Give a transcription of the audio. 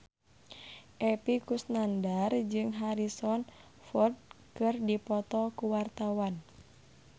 Epy Kusnandar jeung Harrison Ford keur dipoto ku wartawan